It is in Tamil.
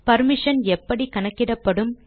பர்மிஷன் எப்படி கணக்கிடப்படும்